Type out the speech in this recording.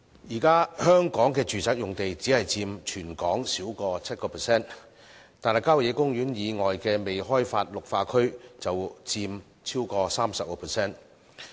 香港現時的住宅用地只佔全港土地少於 7%， 但效野公園以外的未開發綠化區便佔超過 30%。